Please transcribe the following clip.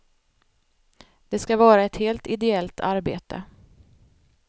Det ska vara ett helt ideellt arbete.